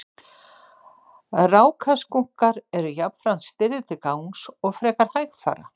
rákaskunkar eru jafnframt stirðir til gangs og frekar hægfara